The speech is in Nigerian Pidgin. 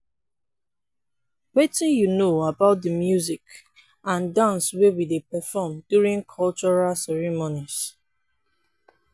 wetin you know about di music and dance wey we dey perform during cultural ceremonies?